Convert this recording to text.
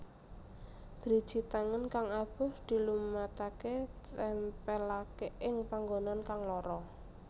Driji tangan kang abuh dilumataké tèmpèlaké ing panggonan kang lara